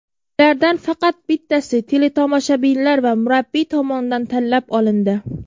Ulardan faqat bittasi teletomoshabinlar va murabbiy tomonidan tanlab olindi.